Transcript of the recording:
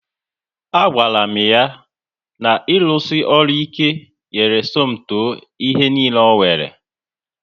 A gwara m ha na irusi ọrụ ike nyere Somto ihe niile o nwere